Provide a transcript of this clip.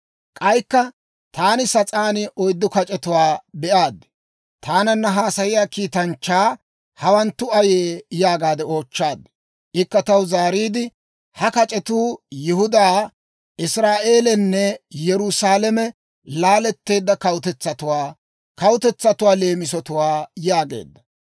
Taananna haasayiyaa kiitanchchaa, «Hawanttu ayee?» yaagaade oochchaad. Ikka taw zaariide, «Ha kac'etuu Yihudaa, Israa'eelanne Yerusaalame laaleedda kawutetsatuwaa» kawutetsatuwaa leemisatwaa yaageedda.